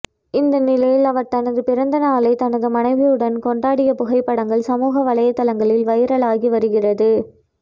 இந்நிலையில் அவர் தனது பிறந்தநாளை தனது மனைவியுடன் கொண்டாடிய புகைப்படங்கள் சமூக வலைதளங்களில் வைரலாகி வருகிறது